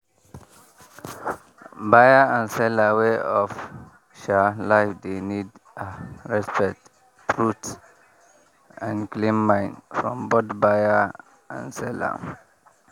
buyer and seller way of um life dey need um respect truth and clean mind from both buyer and seller.